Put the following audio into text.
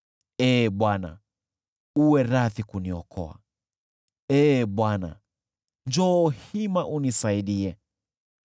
Ee Bwana , uwe radhi kuniokoa; Ee Bwana , njoo hima unisaidie.